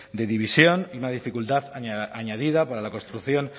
de división y una dificultad añadida para la construcción